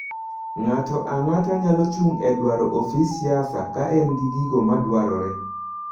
Ng'ato ang'ata nyalo chung e dwro ofis siasa ka en gi gigo madwarore.